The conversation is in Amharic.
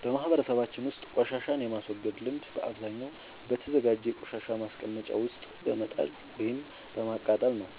በማህበረሰባችን ውስጥ ቆሻሻን የማስወገድ ልምድ በአብዛኛው በተዘጋጀ የቆሻሻ ማስቀመጫ ውስጥ በመጣል ወይም በማቃጠል ነው።